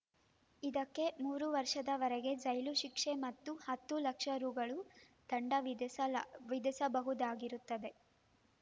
ಇದಕ್ಕೆ ಮೂರು ವರ್ಷದವರೆಗೆ ಜೈಲು ಶಿಕ್ಷೆ ಮತ್ತು ಹತ್ತು ಲಕ್ಷ ರುದಂಡ ವಿಧಿಸಲ ವಿಧಿಸಬಹುದಾಗಿರುತ್ತವೆ